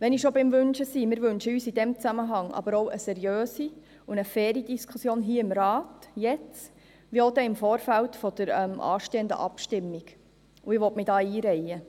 Wenn ich schon beim Wünschen bin: Wir wünschen uns in diesem Zusammenhang aber auch eine seriöse und faire Diskussion hier im Rat, jetzt wie auch im Vorfeld der anstehenden Abstimmung, und ich will mich da einreihen.